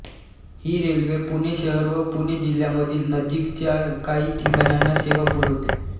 ही railway Pune शहर व पुणे जिल्ह्यामधील नजीकच्या काही ठिकाणांना सेवा पुरवते